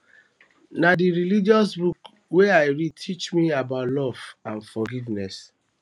na dis religious books wey i read teach me about love and forgiveness